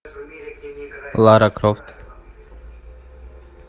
лара крофт